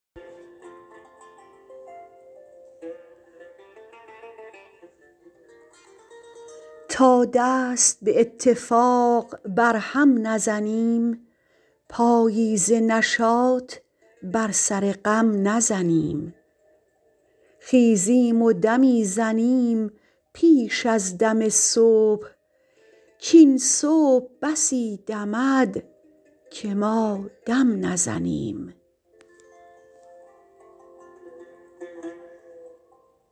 تا دست به اتفاق بر هم نزنیم پایی ز نشاط بر سر غم نزنیم خیزیم و دمی زنیم پیش از دم صبح کاین صبح بسی دمد که ما دم نزنیم